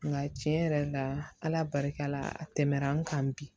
Nka tiɲɛ yɛrɛ la ala barika la a tɛmɛna an kan bi